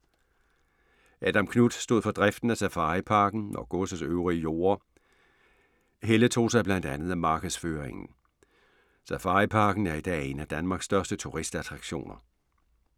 Adam Knuth stod for driften af Safariparken og godsets øvrige jorde. Helle tog sig blandt andet af markedsføringen. Safariparken er i dag en af Danmarks største turistattraktioner.